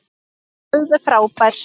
Alveg frábær.